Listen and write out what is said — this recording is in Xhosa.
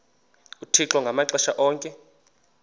uthixo ngamaxesha onke